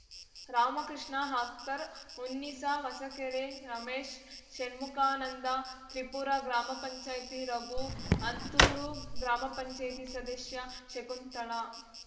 ರಾಮಕೃಷ್ಣ ಅಖ್ತರ್‌ ಉನ್ನಿಸಾ ಹೊಸಕೆರೆ ರಮೇಶ್‌ ಶಣ್ಮುಖಾನಂದ ತ್ರಿಪುರ ಗ್ರಾಮ ಪಂಪಂಚಾಯ್ತಿ ರಘು ಹಂತೂರು ಗ್ರಾಮ ಪಂಪಂಚಾಯ್ತಿ ಸದಶ್ಯೆ ಶಕುಂತಳಾ